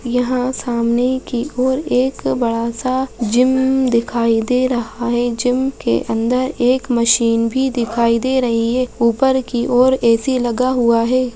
यहां सामने कि ओर एक बड़ा-सा जिम दिखाई दे रहा है जिम के अंदर एक मशीन भी दिखाई दे रही है ऊपर कि ओर ए_सी लगा हुआ है।